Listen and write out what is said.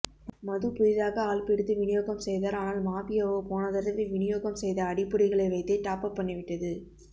மது புதிதாக ஆள்பிடித்து விநியோகம் செய்தார் ஆனால் மாபியாவோ போனதடவை விநியோகம் செய்த அடிப்பொடிகளைவைத்தே டாப் அப் பண்ணிவிட்டது